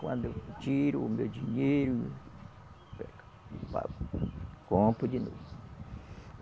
Quando eu tiro o meu dinheiro, pago, compro de novo.